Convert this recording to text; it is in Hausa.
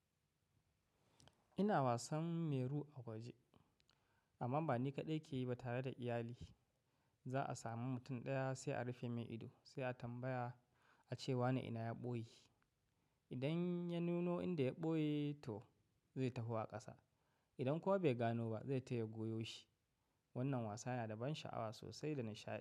Ina wasan meru a waje amma ba ni kaɗai ke yi ba tare da iyali. Za a sami mutum ɗaya sai a rufe mai ido sai a tambaya ace wane ina ya ɓoye. Idan ya nuno inda ya ɓoye to zai taho a ƙasa. Idan kuwa bai gano ba zai taya goyo shi. Wannan wasa yana da ban sha'awa sosai da nishaɗi.